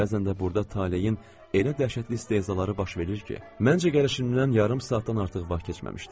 Bəzən də burda taleyin elə dəhşətli istehzaları baş verir ki, məncə gəlişimdən yarım saatdan artıq vaxt keçməmişdi.